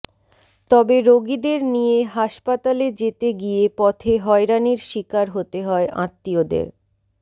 তবে রোগীদের নিয়ে হাসপাতালে যেতে গিয়ে পথে হয়রানির শিকার হতে হয় আত্মীয়দের